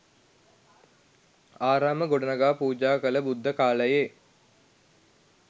ආරාම ගොඩනගා පූජා කළ බුද්ධ කාලයේ